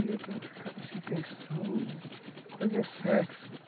E eu ficava assim pensando... Fazer sexo.